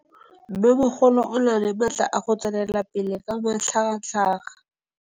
Mmêmogolo o na le matla a go tswelela pele ka matlhagatlhaga.